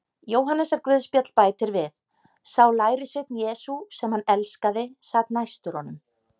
Jóhannesarguðspjall bætir við: Sá lærisveinn Jesú, sem hann elskaði, sat næstur honum.